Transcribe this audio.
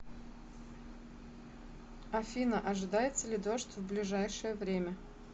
афина ожидается ли дождь в ближайшее время